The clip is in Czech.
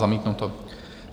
Zamítnuto.